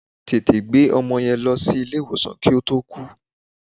Tètè gbé ọmọ yẹn lọ sí ilé ìwòsàn kí ó tó kú.